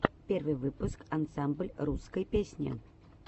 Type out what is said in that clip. первый выпуск ансамбль русской песни